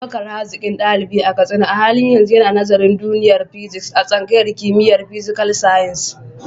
Abubakar, hazikin dalibi a Katsina, a halin yanzu yana nazarin duniyar Physics a tsangayar kimiyyar Physical Sciences.